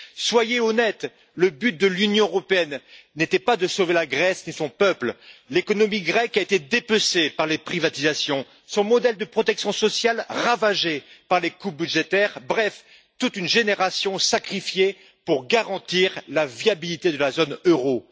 Soyez honnête, le but de l'Union européenne n'était pas de sauver la Grèce et son peuple. L'économie grecque a été dépecée par les privatisations, son modèle de protection sociale ravagé par les coupes budgétaires, bref, toute une génération a été sacrifiée pour garantir la viabilité de la zone euro.